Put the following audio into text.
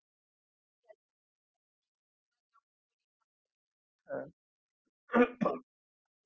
यांच्यामध्ये drinking ला जेवढ cooling लागत त्या temperature ला automatic curler आहे sir